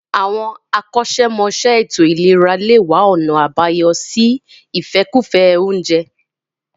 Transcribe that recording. Àwọn akọ́ṣẹ́mọṣẹ́ ètò ìlera lè wá ọ̀nà àbáyọ sí ìfẹ́kùfẹ́ oúnjẹ